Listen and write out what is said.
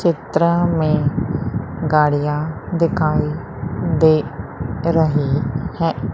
चित्र में गाड़ियां दिखाई दे रही है।